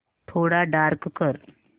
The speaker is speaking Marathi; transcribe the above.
थोडा डार्क कर